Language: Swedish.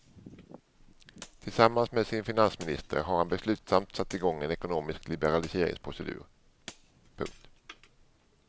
Tillsammans med sin finansminister har han beslutsamt satt i gång en ekonomisk liberaliseringsprocedur. punkt